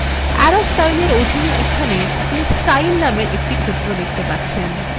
arrow styles arrow অধীনে এখানে আপনি স্টাইল named ক্ষেত্র দেখতে পাবেন